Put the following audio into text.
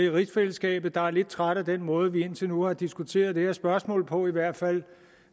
rigsfællesskabet der er lidt trætte af den måde vi indtil nu har diskuteret det her spørgsmål på i hvert fald